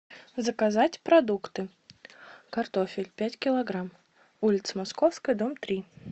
заказать продукты картофель пять килограмм улица московская дом три